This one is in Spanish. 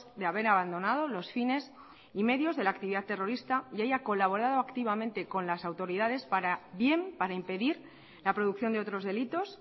de haber abandonado los fines y medios de la actividad terrorista y haya colaborado activamente con las autoridades para bien para impedir la producción de otros delitos